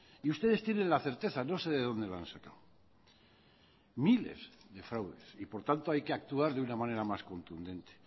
y ustedes tienen la certeza no sé de dónde lo han sacado miles de fraudes y por tanto hay que actuar de una manera más contundente